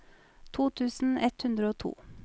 to tusen ett hundre og to